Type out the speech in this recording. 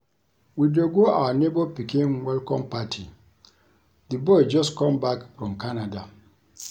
We dey go our neighbor pikin welcome party. The boy just come back from Canada